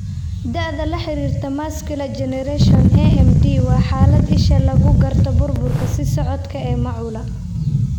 Da'da la xiriirta macular degeneration (AMD) waa xaalad isha lagu garto burburka sii socda ee macula.